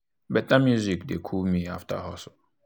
better music dey cool me after hustle.